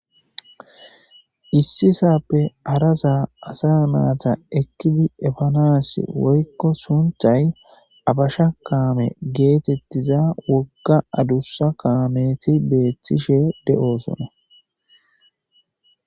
Issi saaoe hara sa asa nayta ekkidi efanasi woyko sunthay abasha kaame geetetiza wogga adussa kaame beetishe de'oosona.